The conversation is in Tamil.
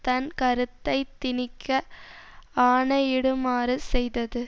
தன் கருத்தை திணிக்க ஆணையிடுமாறு செய்தது